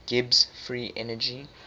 gibbs free energy